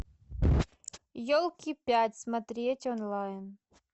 елки пять смотреть онлайн